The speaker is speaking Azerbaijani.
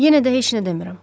Yenə də heç nə demirəm.